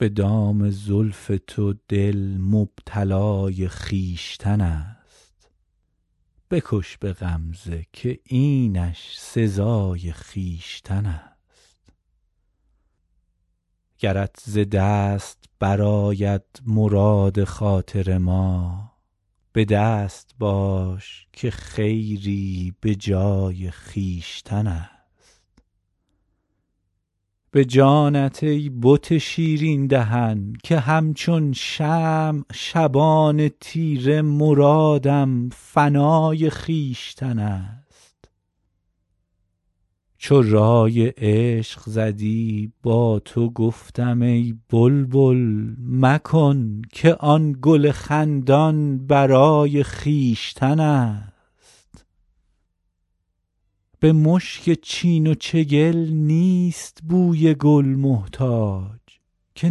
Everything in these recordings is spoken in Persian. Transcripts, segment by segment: به دام زلف تو دل مبتلای خویشتن است بکش به غمزه که اینش سزای خویشتن است گرت ز دست برآید مراد خاطر ما به دست باش که خیری به جای خویشتن است به جانت ای بت شیرین دهن که همچون شمع شبان تیره مرادم فنای خویشتن است چو رای عشق زدی با تو گفتم ای بلبل مکن که آن گل خندان به رای خویشتن است به مشک چین و چگل نیست بوی گل محتاج که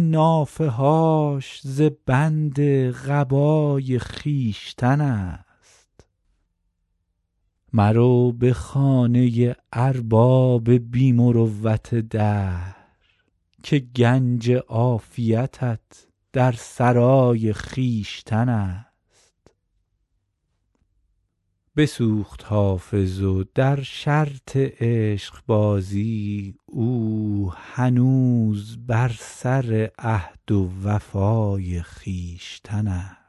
نافه هاش ز بند قبای خویشتن است مرو به خانه ارباب بی مروت دهر که گنج عافیتت در سرای خویشتن است بسوخت حافظ و در شرط عشقبازی او هنوز بر سر عهد و وفای خویشتن است